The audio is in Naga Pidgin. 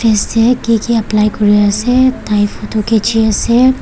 ase kiki apply kuriase tae photo khichiase.